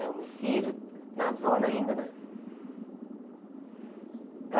É homicídio na zona ainda, né?